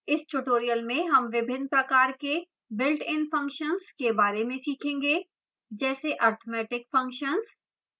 इस tutorial में हम विभिन्न प्रकार के builtin functions के बारे में सीखेंगेजैसे arithmetic functions